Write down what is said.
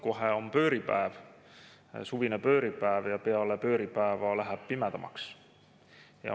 Kohe on pööripäev, suvine pööripäev, ja peale pööripäeva läheb pimedamaks.